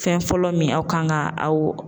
Fɛn fɔlɔ min aw kan ka aw